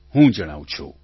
હું જણાવું છું